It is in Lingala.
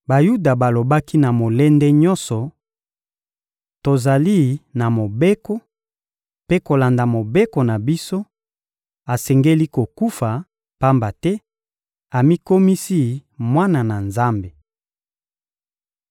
Bayuda balobaki na molende nyonso: — Tozali na Mobeko; mpe kolanda Mobeko na biso, asengeli kokufa, pamba te amikomisi Mwana na Nzambe.